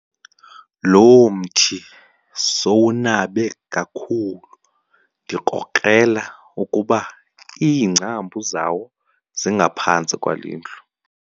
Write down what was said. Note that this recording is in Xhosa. Lo mthi sowunabe kakhulu ndikrokrela ukuba iingcambu zawo zingaphantsi kwale ndlu.